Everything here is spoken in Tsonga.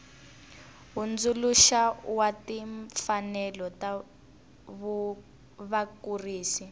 hundzuluxa wa timfanelo ta vakurisi